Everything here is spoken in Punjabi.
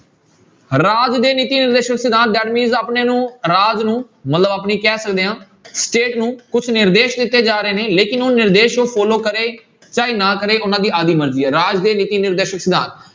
ਰਾਜ ਦੇ ਨੀਤੀ ਨਿਰਦੇਸ਼ਕ ਸਿਧਾਂਤ that means ਆਪਣੇ ਨੂੰ ਰਾਜ ਨੂੰ ਮਤਲਬ ਆਪਣੀ ਕਹਿ ਸਕਦੇ ਹਾਂ state ਨੂੰ ਕੁਛ ਨਿਰਦੇਸ਼ ਦਿੱਤੇ ਜਾ ਰਹੇ ਨੇ ਲੇਕਿੰਨ ਉਹ ਨਿਰਦੇਸ਼ ਉਹ follow ਕਰੇ ਚਾਹੇ ਨਾ ਕਰੇ ਉਹਨਾਂ ਦੀ ਆਪਦੀ ਮਰਜ਼ੀ ਹੈ ਰਾਜ ਦੇ ਨੀਤੀ ਨਿਰਦੇਸ਼ਕ ਸਿਧਾਂਤ।